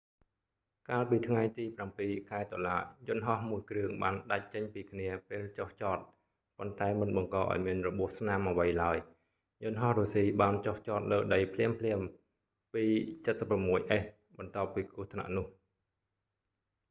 កាលពីថ្ងៃទី 7 ខែតុលា យន្តហោះមួយគ្រឿងបានដាច់ចេញពីគ្នាពេលចុះចត ប៉ុន្តែមិនបង្ករឱ្យមានរបួសស្នាមអ្វីឡើយ យន្តហោះរុស្ស៊ីបានចុះចតលើដីភ្លាមៗ ii-76s បន្ទាប់ពីគ្រោះថ្នាក់នោះ